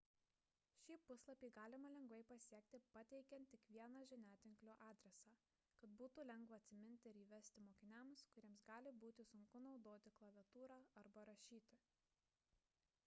šį puslapį galima lengvai pasiekti pateikiant tik vieną žiniatinklio adresą kad būtų lengva atsiminti ir įvesti mokiniams kuriems gali būti sunku naudoti klaviatūrą arba rašyti